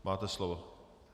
Máte slovo.